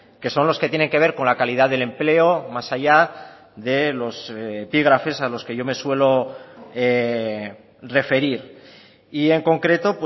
que son los que tienen que ver con la calidad del empleo más allá de los epígrafes a los que yo me suelo referir y en concreto